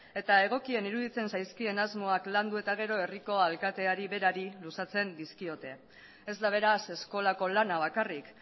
eta egokien iruditzen zaizkien asmoak landu eta gero herriko alkateari berari luzatzen dizkiote ez da beraz eskolako lana bakarrik